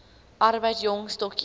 arbeid jong stokkies